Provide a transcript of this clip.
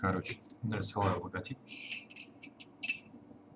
короче дай свой логотип